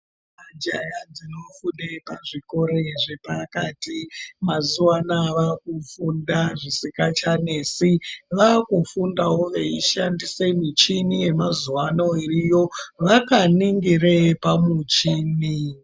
Majaha dzinofunde pazvikore zvapakati mazuva anaya vakufunda zvisikachanesi. Vakufundavo veishandise michini yemazuva ano iriyo, vakaningire pamuchini.